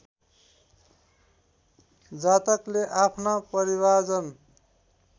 जातकले आफ्ना परिवारजन